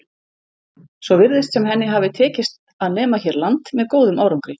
Svo virðist sem henni hafi tekist að nema hér land með góðum árangri.